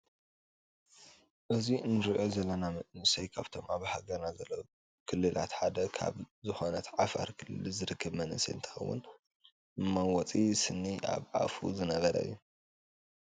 እዙይ እንርእዮ ዘለና መንእሰይ ካብቶም ኣብ ሃገርና ዘለው ክልላት ሓደ ካብ ዝኩነት ዓፋር ክልል ዝርከብ መንእሰይ እንትከውን መመወፂ ስኒ ኣበ ኣፉ ዝገበረ እዩ።